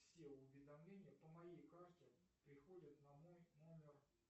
все уведомления по моей карте приходят на мой номер